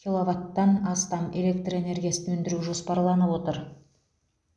киловаттан астам электр энергиясын өндіру жоспарланып отыр